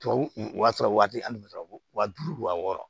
Tubabu o y'a sɔrɔ waati hali bɛ sɔrɔ ko waa duuru wa wɔɔrɔ